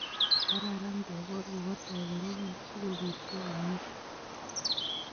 kararan kekol kokatoi korobon sikobitcho komye